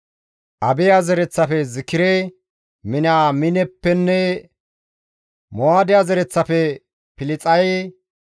Abiya zereththafe Zikire, Miniyaamineppenne Mo7aadiya zereththafe Pilxaye,